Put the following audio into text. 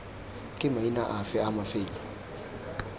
ke maina afe a mafelo